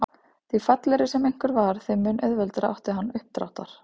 Því fallegri sem einhver var þeim mun auðveldara átti hann uppdráttar.